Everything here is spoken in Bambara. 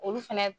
Olu fɛnɛ